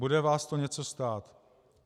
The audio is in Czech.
Bude vás to něco stát.